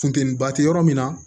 Funteniba te yɔrɔ min na